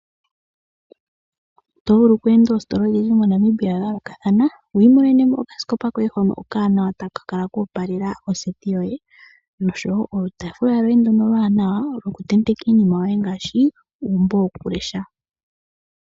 Oto vulu okweenda oostola odhindji mo Namibia dha yoolokathana wiimonene mo okaskopa koye hoka okawanawa taka kala koopalela oseti yoye noshowo olutafula lwoye ndono oluwanawa loku tendeka iinima yoye ngaashi uumbo woku lesha.